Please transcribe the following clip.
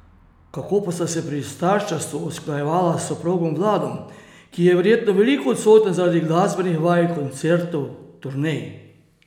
Kako pa sta se pri starševstvu usklajevala s soprogom Vladom, ki je verjetno veliko odsoten zaradi glasbenih vaj, koncertov, turnej?